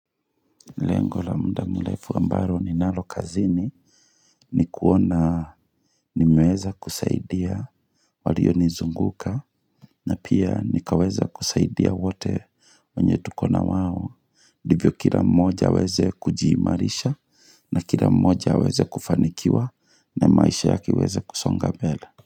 Lengo la muda mlefu ambalo ninalo kazini ni kuona nimeweza kusaidia walio nizunguka na pia nikaweza kusaidia wote wanye tukona wao. Ndivyo kila moja aweze kujimarisha na kila moja aweze kufanikiwa na maisha yake iweze kusonga mbele.